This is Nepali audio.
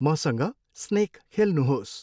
मसँग स्नेक खेल्नुहोस्।